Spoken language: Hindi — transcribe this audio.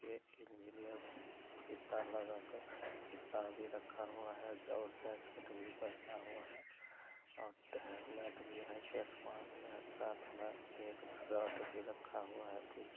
ये इंजीनियर फीता लगा कर फीता भी रखा हुआ है और जैकेट भी पहना हुआ है और हेलमेट भी है चश्मा भी है साथ मे एक रॉड भी रखा हुआ है पीछे।